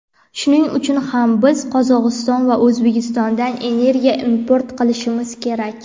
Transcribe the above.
Shuning uchun ham biz Qozog‘iston va O‘zbekistondan energiya import qilishimiz kerak.